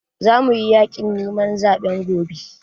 Za muyi yaƙin neman zaɓe gobe